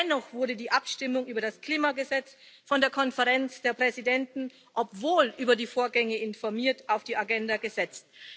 Dennoch wurde die Abstimmung über das Klimagesetz von der Konferenz der Präsidenten obwohl über die Vorgänge informiert auf die Tagesordnung gesetzt.